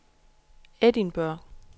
Edinburgh